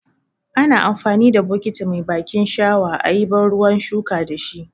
Ana amfani da bukiti mai bakin shawa ayi ban ruwan shuka dashi.